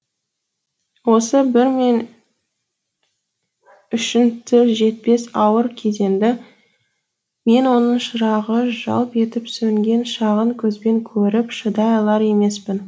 осы бір мен үшін тіл жетпес ауыр кезеңді мен оның шырағы жалп етіп сөнген шағын көзбен көріп шыдай алар емеспін